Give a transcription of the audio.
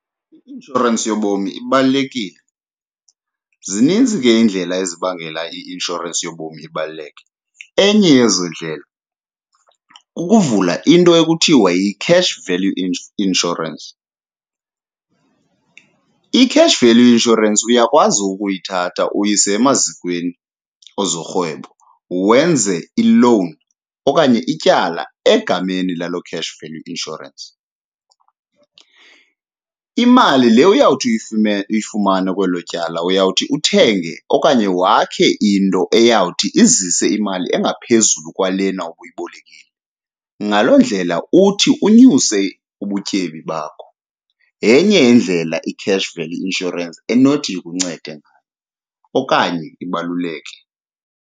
I-inshorensi yobomi ibalulekile. Zininzi ke iindlela ezibangela i-inshorensi yobomi ibaluleke, enye yezo ndlela kukuvula into ekuthiwa yi-card value i insurance. I-cash value insurance uyakwazi ukuyithatha uyise emazikweni ezorhwebo, wenze ilowuni okanye ityala egameni laloo cash value insurance. Imali le uyawuthi uyifumane kwelo tyala uyawuthi uthenge okanye wakhe into eyawuthi izise imali engaphezulu kwalena ubuyibolekile, ngaloo ndlela uthi unyuse ubutyebi bakho. Yenye indlela i-cash value insurance enothi ikuncede ngayo okanye ibaluleke.